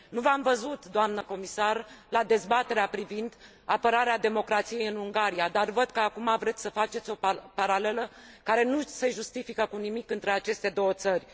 Nu v am văzut, doamnă comisar, la dezbaterea privind apărarea democrației în Ungaria, dar văd că acum vreți să faceți o paralelă, care nu se justifică cu nimic, între aceste două țări.